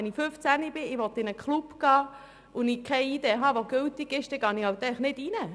Wenn ich 15 Jahre alt bin und in einen Club gehen möchte, aber keine gültige ID habe, gehe ich dort einfach nicht rein.